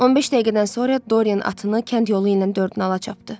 15 dəqiqədən sonra Doriyen atını kənd yolu ilə dörd nala çapdı.